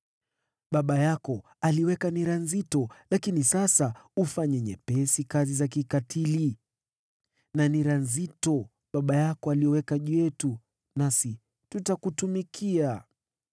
“Baba yako aliweka nira nzito, lakini sasa tupunguzie kazi za kikatili na nira nzito aliyoweka juu yetu, nasi tutakutumikia.”